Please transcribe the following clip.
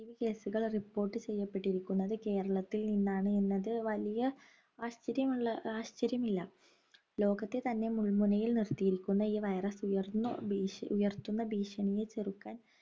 positive case കൾ report ചെയ്യപ്പെട്ടിരിക്കുന്നത് കേരളത്തിൽ നിന്നാണ് എന്നത് വലിയ ആശ്ചര്യമുള്ള ആശ്ചര്യമില്ല ലോകത്തിൽ തന്നെ മുൾമുനയിൽ നിർത്തിയിരിക്കുന്ന ഈ virus ഉയർന്നു ഭീഷണി ഉയർത്തുന്ന ഭീഷണിയെ ചെറുക്കാൻ